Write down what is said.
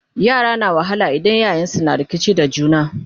yara na wahala idan iyayensun na rikici da juna